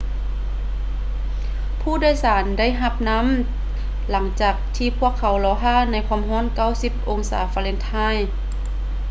ຜູ້ໂດຍສານໄດ້ຮັບນໍ້າຫຼັງຈາກທີ່ພວກເຂົາລໍຖ້າໃນຄວາມຮ້ອນ 90 ອົງສາຟາເລັນຮາຍ